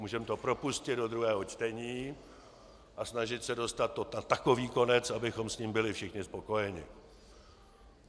Můžeme to propustit do druhého čtení a snažit se dostat to na takový konec, abychom s tím byli všichni spokojeni.